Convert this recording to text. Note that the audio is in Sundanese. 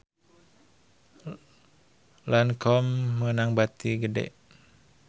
Lancome meunang bati gede